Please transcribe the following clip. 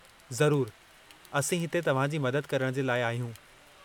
ज़रूरु . असीं हिते तव्हांजी मदद करणु जे लाइ आहियूं।